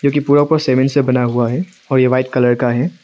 ये पूरा का पूरा सीमेंट से बना हुआ है और ये व्हाइट कलर का है।